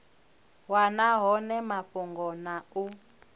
wana hone mafhungo na u